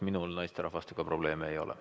Minul naisterahvastega probleeme ei ole.